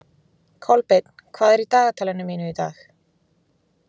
Kolbeinn, hvað er á dagatalinu mínu í dag?